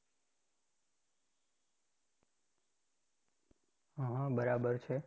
હ હ બરાબર છે.